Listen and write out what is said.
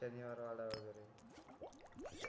शनिवार वाडा वगैरे